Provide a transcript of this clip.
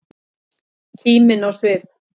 Kímin á svip.